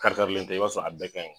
Kari karilen tɛ, i b'a sɔrɔ a bɛɛ kaɲi